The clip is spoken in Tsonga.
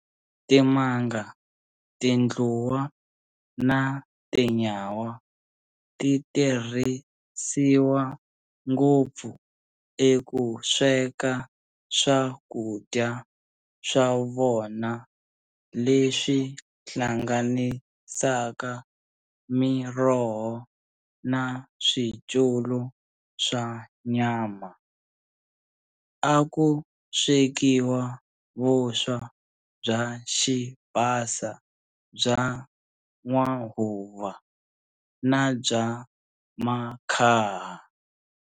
Timanga, tundluwa na tinyawa titirhisiwa ngopfu ekusweka swakudya swa vona leswi hlanganisaka miroho na swityulu swa nyama. A ku swekiwa vuswa bya xibasa bya n'wahuva na bya makhaha.